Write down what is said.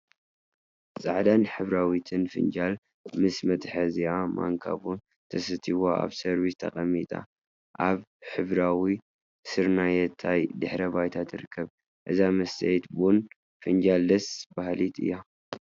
ፃዕዳን ሕብራዊትን ፍንጃል ምስ መትሐዚአን ማንካን ቡና ተሰትይዋ አብ ሰርቪሳ ተቀሚጣ አብ ሕብራዊን ስርናየታይ ድሕረ ባይታ ትርከብ፡፡ እዛ መስተይት ቡና ፋንጃል ደስ በሃሊት እያ፡፡